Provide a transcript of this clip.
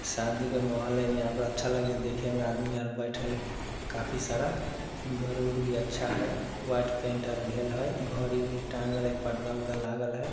शादी का महौल है। यहाँ पर अच्छा लगे हय देखे में ।आदमी आर बैठल हय। काफ़ी सारा घर-उड़ भी अच्छा हय। व्हाइट पेंट आर पर्दा-उर्दा लागल हय।